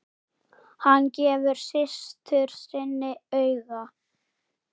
Hann gefur systur sinni auga.